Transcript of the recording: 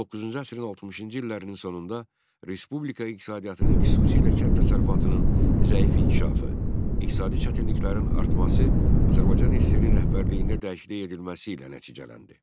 19-cu əsrin 60-cı illərinin sonunda respublika iqtisadiyyatının xüsusilə kənd təsərrüfatının zəif inkişafı, iqtisadi çətinliklərin artması Azərbaycan SSR-in rəhbərliyində dəyişiklik edilməsi ilə nəticələndi.